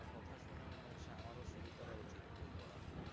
কথা শুনে মনে হচ্ছে আমারও শুরু করা উচিত বই পড়ার,